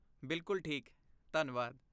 ਬਿਲਕੁਲ ਠੀਕ, ਧੰਨਵਾਦ।